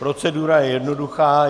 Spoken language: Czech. Procedura je jednoduchá.